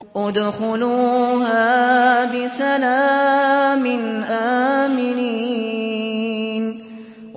ادْخُلُوهَا بِسَلَامٍ آمِنِينَ